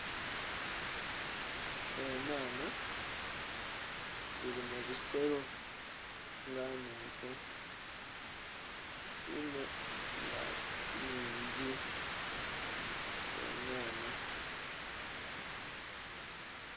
Enhanha dhiri mubisero nga nnhenvu inho nga nnhingi enhanha.